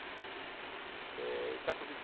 é.. Ele está com vinte e